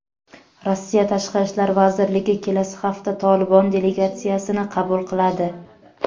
Rossiya Tashqi ishlar vazirligi kelasi hafta "Tolibon" delegatsiyasini qabul qiladi.